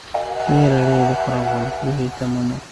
Rĩera rĩrĩ rĩkoragwo rĩrĩ rĩhiũhĩte mũno na rĩiyũire